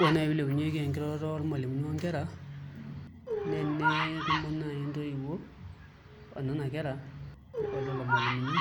Ore naai pee ilepunyieki enkiroroto ormalimuni onkera naa enetumo naai ntoiwuo o nena kera o lelo malimuni